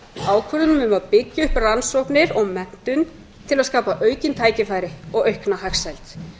ákvörðunum um að byggja upp rannsóknir og menntun til að skapa aukin tækifæri og aukna hagsæld